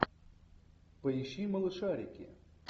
поищи малышарики